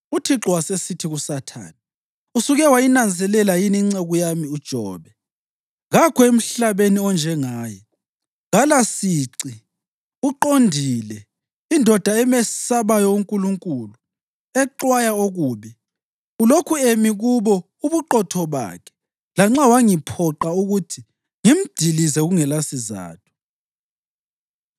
UThixo wasesithi kuSathane, “Usuke wayinanzelela yini inceku yami uJobe? Kakho emhlabeni onjengaye; kalasici, uqondile, indoda emesabayo uNkulunkulu, exwaya okubi. Ulokhu emi kubo ubuqotho bakhe lanxa wangiphoqa ukuthi ngimdilize kungelasizatho.”